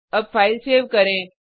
अब file save करें